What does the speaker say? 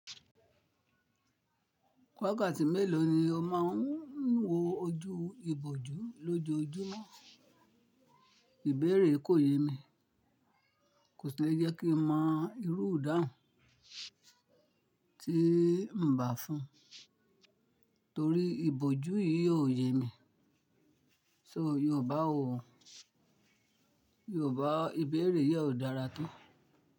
Wákàtí mélòó ni o máa ń wo ojú ibojú lójoojúmọ́? Ìbéèrè kò yé mi, kò sì lè jẹ́ kí n mọ irú idáun tí ń bà fún, torí ìbòjú yìí ò yé mi. So Yorùbá ò, Yorùbá ìbéèrè yìí ò dára tó.